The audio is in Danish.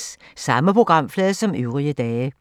Samme programflade som øvrige dage